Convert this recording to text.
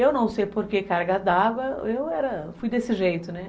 Eu não sei por que carga dava, eu fui desse jeito, né?